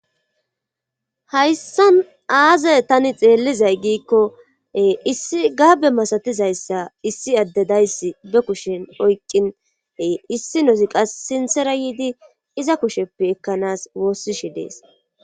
Hayssa aazay tani xeellizay giikko issi gaabe masatizayssa issi addedayssi be kushen oyqqin issi nozi qas sinsera yiidi iza kusheppe ekkanas woossishi dees.